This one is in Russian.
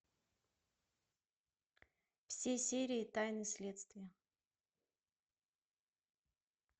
все серии тайны следствия